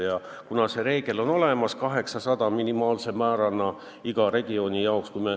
Ja see reegel on olemas, et minimaalselt 800 000 elanikku peab igas regioonis olema.